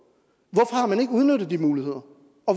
nu